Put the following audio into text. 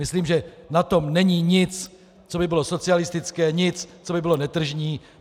Myslím, že na tom není nic, co by bylo socialistické, nic, co by bylo netržní.